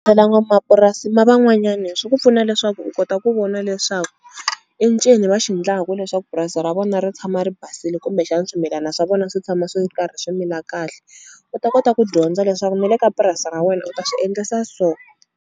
n'wamapurasi na van'wanyani swi ku pfuna leswaku u kota ku vona leswaku i ncini va xi endlaku leswaku purasi ra vona ri tshama ri basile kumbexana swimilana swa vona swi tshama swi karhi swi mila kahle u ta kota ku dyondza leswaku ni le ka purasi ra wena u ta swi endlisa so.